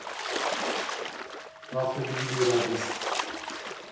автоювелир адрес